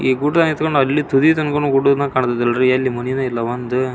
ಈ ಗುಡ್ಡ ಎತುಕೊಂಡು ಅಲ್ಲಿ ತುದಿ ತನಕ ಕಾಣುತ್ತೆ ನೋಡ್ರಿ ಎಲ್ಲ ಮನೆನೇ ಇಲ್ಲ ಒಂದು --